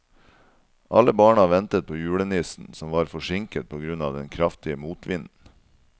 Alle barna ventet på julenissen, som var forsinket på grunn av den kraftige motvinden.